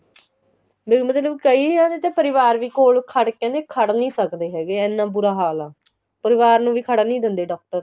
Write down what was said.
ਨਹੀਂ ਮਤਲਬ ਕਈ ਜਾਣੇ ਤਾਂ ਪਰਿਵਾਰ ਵੀ ਕੋਲ ਖੜ ਕਹਿੰਦੇ ਖੜ ਨੀਂ ਸਕਦੇ ਹੈਗੇ ਇੰਨਾ ਬੁਰਾ ਹਾਲ ਆ ਪਰਿਵਾਰ ਨੂੰ ਵੀ ਖੜਨ ਨੀਂ ਦਿੰਦੇ doctor